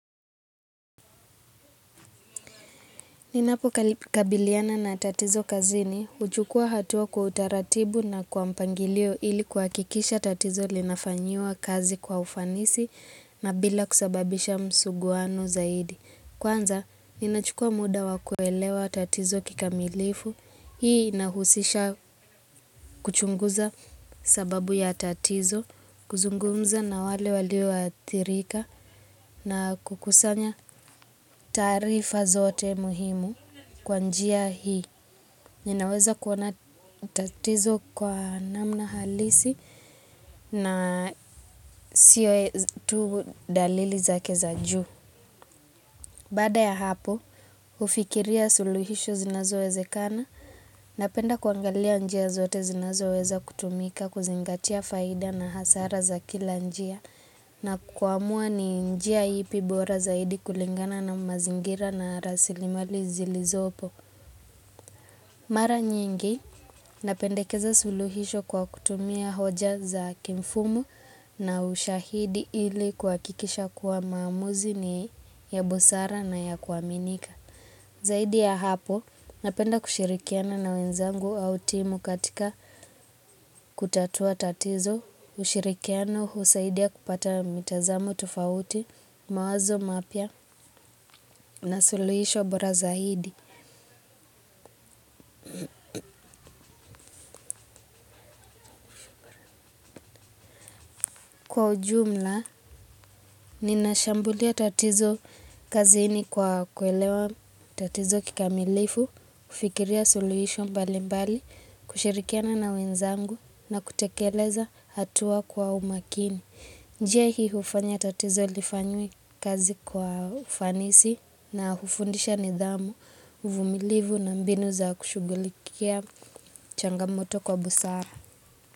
Ninapokabiliana na tatizo kazini, huchukua hatua kwa utaratibu na kwa mpangilio ili kuhakikisha tatizo linafanyiwa kazi kwa ufanisi na bila kusababisha msuguano zaidi. Kwanza, ninachukua muda wa kuelewa tatizo kikamilifu, hii inahusisha kuchunguza sababu ya tatizo, kuzungumza na wale walioathirika na kukusanya taarifa zote muhimu kwa njia hii. Ninaweza kuona tatizo kwa namna halisi na sio tu dalili zake za juu. Baada ya hapo, hufikiria suluhisho zinazowezekana napenda kuangalia njia zote zinazoweza kutumika kuzingatia faida na hasara za kila njia na kuamua ni njia ipi bora zaidi kulingana na mazingira na rasilimali zilizopo. Mara nyingi, napendekeza suluhisho kwa kutumia hoja za kimfumo na ushahidi ili kuhakikisha kuwa maamuzi ni ya busara na ya kuaminika. Zaidi ya hapo, napenda kushirikiana na wenzangu au timu katika kutatua tatizo, ushirikiano husaidia kupata mitazamo tofauti, mawazo mapya na suluhisho bora zaidi. Kwa ujumla, ninashambulia tatizo kazini kwa kuelewa tatizo kikamilifu, kufikiria suluhisho mbalimbali, kushirikiana na wenzangu na kutekeleza hatua kwa umakini. Njia hii hufanya tatizo lifanyiwe kazi kwa ufanisi na hufundisha nidhamu, uvumilivu na mbinu za kushughulikia changamoto kwa busara.